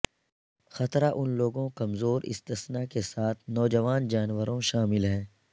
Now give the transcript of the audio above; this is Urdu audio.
خطرہ ان لوگوں کمزور استثنی کے ساتھ نوجوان جانوروں شامل ہیں